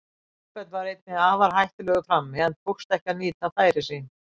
Kolbeinn var einnig afar hættulegur frammi, en tókst ekki að nýta færi sín.